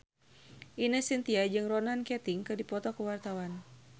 Ine Shintya jeung Ronan Keating keur dipoto ku wartawan